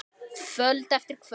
Kvöld eftir kvöld.